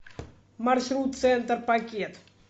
маршрут центр пакет